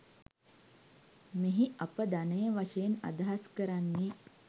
මෙහි අප ධනය වශයෙන් අදහස් කරන්නේ